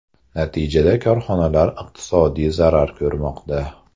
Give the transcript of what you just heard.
Natijada korxonalar iqtisodiy zarar ko‘rmoqda.